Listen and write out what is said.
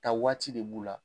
Ka waati de b'u la